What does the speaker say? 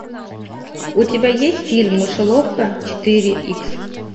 у тебя есть фильм мышеловка четыре икс